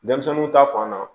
Denmisɛnninw ta fan na